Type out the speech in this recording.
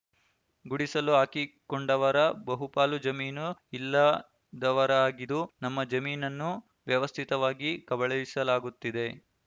ಗುಡಿಸಲು ಹಾಕಿಕೊಂಡವರ ಬಹುಪಾಲು ಜಮೀನು ಇಲ್ಲದವರಾಗಿದು ನಮ್ಮ ಜಮೀನನ್ನು ವ್ಯವಸ್ಥಿತವಾಗಿ ಕಬಳಿಸಲಾಗುತ್ತಿದೆ